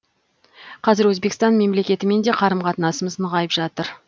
қазір өзбекстан мемлекетімен де қарым қатынасымыз нығайып жатыр